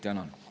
Tänan!